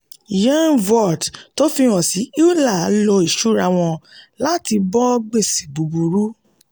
yearn vaults tó fìhan sí euler lò ìṣúra wọn láti bó gbèsè búburú.